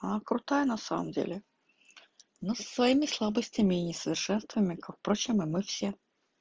она крутая на самом деле но со своими слабостями и несовершенствами как впрочем и мы все